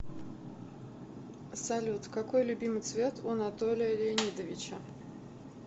салют какой любимый цвет у анатолия леонидовича